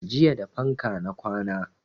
Jiya da fanka na kwana